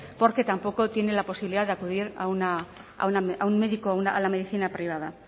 porque tampoco tiene la posibilidad de acudir a un médico o la medicina privada